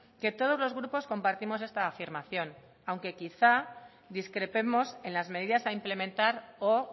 que todos los grupos compartimos esta afirmación aunque quizás discrepemos en las medidas a implementar o